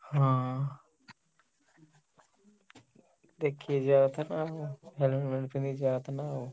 ହଁ। ଦେଖିକି ଯିବା କଥା ନା ଆଉ, ଯିବା କଥା ନା ଆଉ।